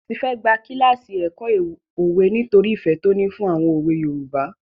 Tife gba kíláàsì ẹ̀kọ́ òwe nítorí ìfẹ́ tó ní fún àwọn òwe Yorùbá.